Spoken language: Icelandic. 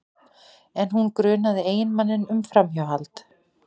En hún grunaði eiginmanninn um framhjáhald